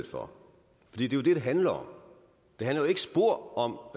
for det er jo det det handler om det handler ikke spor om